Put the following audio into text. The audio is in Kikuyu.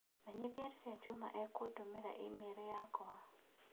Menyithia rĩrĩa Juma ekũndũmĩra i-mīrū yakwa.